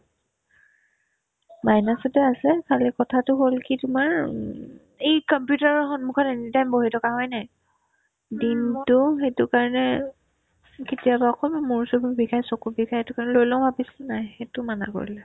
minus তে আছে খালি কথা হ'ল কি তোমাৰ উম এই computer ৰৰ সন্মুখত anytime বহি থকা হয়নে নাই দিনতো সেইটো কাৰণে কেতিয়াবা অকনমান মূৰ-চূৰবোৰ বিষাই , চকু বিষাই এইটো কাৰণত লৈ লও ভাবিছিলো নাই সেইটো মানা কৰিলে